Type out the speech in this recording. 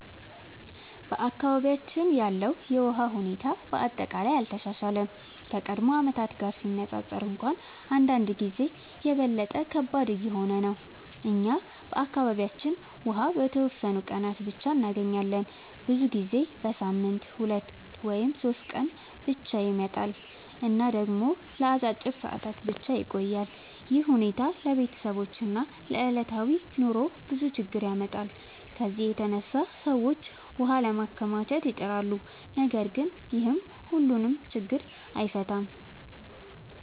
በአካባቢያችን ያለው የውሃ ሁኔታ በአጠቃላይ አልተሻሻለም፤ ከቀድሞ ዓመታት ጋር ሲነፃፀር እንኳን አንዳንድ ጊዜ የበለጠ ከባድ እየሆነ ነው። እኛ በአካባቢያችን ውሃ በተወሰኑ ቀናት ብቻ እንገኛለን፤ ብዙ ጊዜ በሳምንት 2 ወይም 3 ቀን ብቻ ይመጣል እና ደግሞ ለአጭር ሰዓታት ብቻ ይቆያል። ይህ ሁኔታ ለቤተሰቦች እና ለዕለታዊ ኑሮ ብዙ ችግኝ ያመጣል። ከዚህ የተነሳ ሰዎች ውሃ ለማከማቸት ይጥራሉ፣ ነገር ግን ይህም ሁሉን ችግኝ አይፈታም።